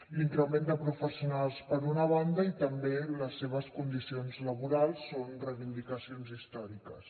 l’increment de professionals per una banda i també les seves condicions laborals són reivindicacions històriques